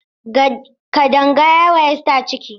Kadanga ya yi wa Esther ciki.